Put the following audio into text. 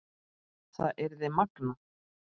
Það yrði magnað.